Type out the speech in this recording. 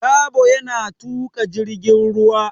Dabo yana tuƙa jirgin ruwa.